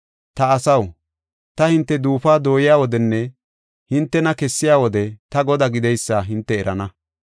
Ta asaw, ta hinte duufuwa dooyiya wodenne hintena kessiya wode, ta Godaa gideysa hinte erana.